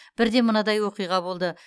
бірде мынадай оқиға болды